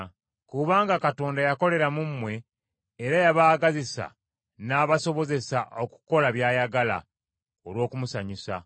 Kubanga Katonda yakolera mu mmwe, era yabaagazisa n’abasobozesa okukola by’ayagala, olw’okumusanyusa.